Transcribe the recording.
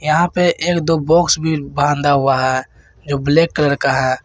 यहां पे एक दो बॉक्स भी बांधा हुआ है जो ब्लैक कलर का है।